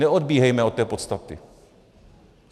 Neodbíhejme od té podstaty.